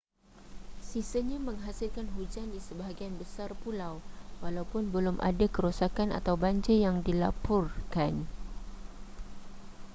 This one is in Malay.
sisanya menghasilkan hujan di sebahagian besar pulau walaupun belum ada kerosakan atau banjir yang dilaporkan